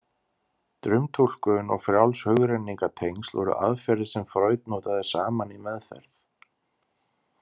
Draumtúlkun og frjáls hugrenningatengsl voru aðferðir sem Freud notaði saman í meðferð.